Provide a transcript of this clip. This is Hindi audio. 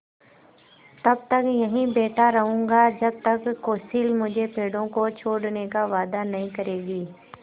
तब तक यहीं बैठा रहूँगा जब तक कौंसिल मुझे पेड़ों को छोड़ने का वायदा नहीं करेगी